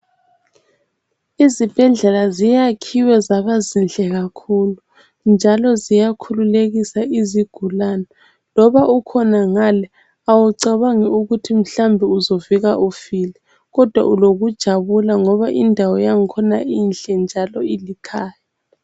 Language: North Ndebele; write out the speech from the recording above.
Izibhedlela ziyakhiwe zaba zinhle kakhulu, njalo ziyakhululekisa izigulane, loba ukhona ngale awucabangi ukuthi mhlawumbe uzovuka ufile, kodwa ulokujabula ngoba indawo yakhona inhle njalo ilikhaya.